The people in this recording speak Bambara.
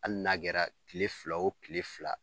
Ali n'a kɛra kile fila o kile fila